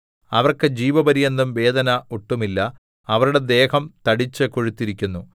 അവർക്ക് ജീവപര്യന്തം വേദന ഒട്ടുമില്ല അവരുടെ ദേഹം തടിച്ചുകൊഴുത്തിരിക്കുന്നു